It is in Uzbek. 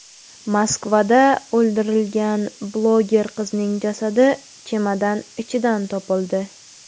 Moskvada o‘ldirilgan bloger qizning jasadi chemodan ichidan topildi.